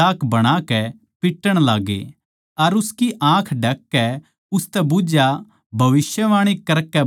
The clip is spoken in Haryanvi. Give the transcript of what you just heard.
अर उसकी आँख ढक कै उसतै बुझया भविष्यवाणी करकै बता के तेरै किसनै मारया